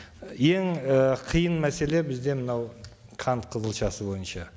ең і қиын мәселе бізде мынау қант қызылшасы бойынша